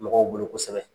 Mɔgɔw bolo kosɛbɛ